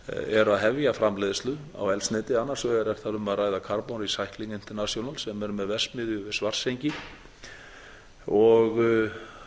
eru að hefja framleiðslu á eldsneyti annars vegar er þar um að ræða carbon recycling international sem er með verksmiðju